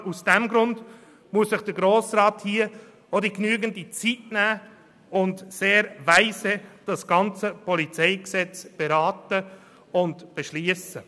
Gerade aus diesem Grund muss sich der Grosse Rat hier genügend Zeit nehmen, um das PolG weise zu beraten und zu beschliessen.